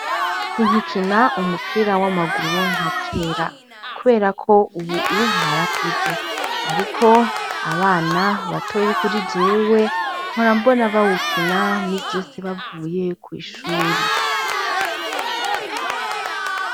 Sinkikina umupira w'amaguru nka kera, kubera ko ubu narakuze. Ariko abana gatoyi kuri jewe batoyi kuri jewe, mpora mbona bawukina iminsi yose bavuye kw'ishure.